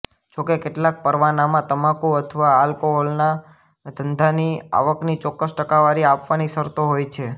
જોકે કેટલાક પરવાનામાં તમાકુ અથવા આલ્કોહોલના ધંધાની આવકની ચોક્કસ ટકાવારી આપવાની શરતો હોય છે